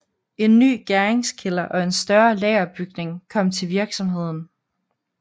En ny gæringskælder og en større lagerbygning kom til virksomheden